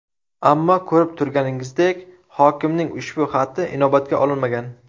Ammo ko‘rib turganingizdek, hokimning ushbu xati inobatga olinmagan.